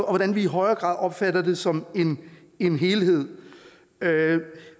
og hvordan vi i højere grad opfatter det som en helhed